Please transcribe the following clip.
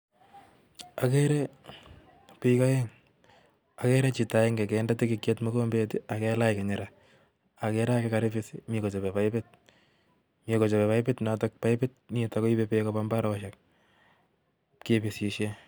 Agree biik peng, agere chito agenge konde tikikiot mokombeet I ak kailach kinyira. Ak agere age koribiis ak mii kochobee paipuut, mi kochobe paiput notok paiput nitok koibe beek kobaa mbarenik, kibisisien